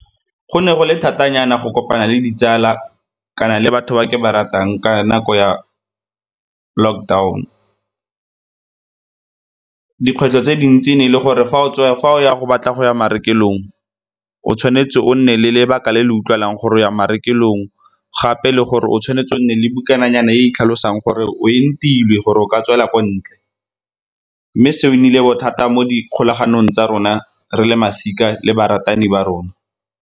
Go ne go le thata nyana go kopana le ditsala kana le batho ba ke ba ratang ka nako ya lockdown. Dikgwetlho tse dintsi ne e le gore fa o ya go batla go ya marekelong o tshwanetse o nne le lebaka le le utlwalang gore go ya marekelong gape le gore o tshwanetse o nne le bukananyana e e tlhalosang gore o entilwe gore o ka tswela ko ntle. Mme seo e nnile bothata mo di kgolaganong tsa rona re le masika le baratani ba rona.